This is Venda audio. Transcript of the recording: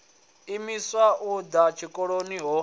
imiswa u ḓa tshikoloni ho